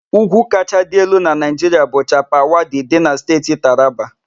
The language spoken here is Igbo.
Úgwú kacha elu na Naịjiria bu Chapal Wadi dị na Steeti Taraba.